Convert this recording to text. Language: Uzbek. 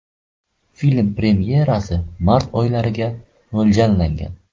Film premyerasi mart oylariga mo‘ljallangan.